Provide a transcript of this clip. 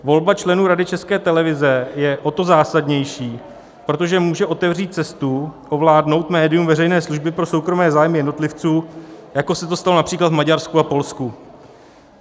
Volba členů Rady České televize je o to zásadnější, protože může otevřít cestu ovládnout médium veřejné služby pro soukromé zájmy jednotlivců, jako se to stalo například v Maďarsku a Polsku.